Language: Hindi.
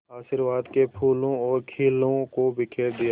आशीर्वाद के फूलों और खीलों को बिखेर दिया